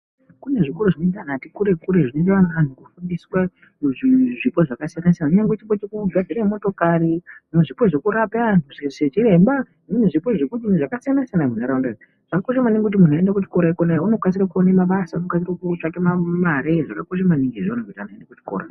Kune zvikoro zvinoenda vantu vati kurei kurei zvinoenda vantu vanobuditswa zvipo zvakasiyana siyana kunyangwe chipo chekugadzire motokari nechipo chekurapa vantu sechiremba nezvipo zvekudiini zvakasiyana siyana munharaunda idzi dzakakosha maningi kuti muntu uende kuchikora kona iyoyi wonokasire kuone mabasa ukasire kutsvake Mari zvakakosha maningi zvaunoita Kona kuchikora.